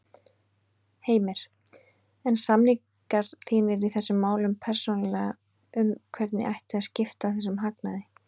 Heimir: En samningar þínir í þessum málum persónulega um hvernig ætti að skipta þessum hagnaði?